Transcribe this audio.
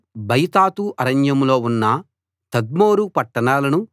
బయతాతు అరణ్యంలో ఉన్న తద్మోరు పట్టణాలను